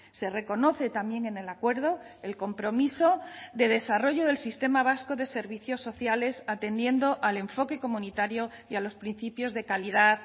se reconoce también en el acuerdo el compromiso de desarrollo del sistema vasco de servicios sociales atendiendo al enfoque comunitario y a los principios de calidad